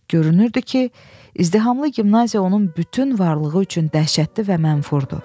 Görünürdü ki, izdihamlı gimnaziya onun bütün varlığı üçün dəhşətli və mənfurdu.